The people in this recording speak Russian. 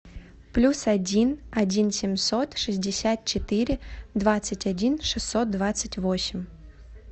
плюс один один семьсот шестьдесят четыре двадцать один шестьсот двадцать восемь